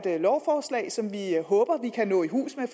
et lovforslag som vi håber vi kan nå i hus med